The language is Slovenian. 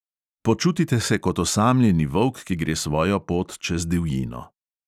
Počutite se kot osamljeni volk, ki gre svojo pot čez divjino.